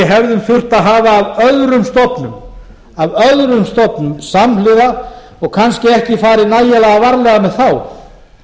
hefðum þurft að hafa af öðrum stofnum samhliða og kannski ekki farið nægilega varlega með þá